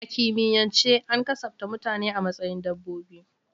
A kimiyyance an kasafta mutane a matsayin dabbobi.